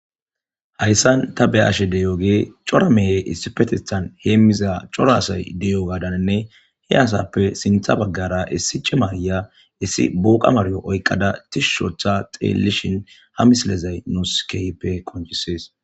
Hayssan ta be ashe deyooge cora mehe issifetistan heemmiza corasay deyo gadaninne he asappe sintha baggara issi ci maarya issi booqa maryo oykqada tishushotha xeelishin hamislezay nouskeype konchisees